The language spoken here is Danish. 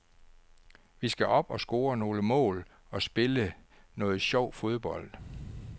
Vi skal op og score nogle mål og spille noget sjov fodbold.